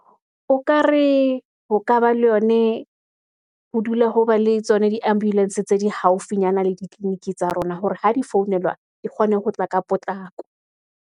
O ka re ho ka ba le yone, ho dula ho ba le tsona di-ambulance, tse di haufinyana le ditleliniki tsa rona, hore ha di founelwa di kgone ho tla ka potlako.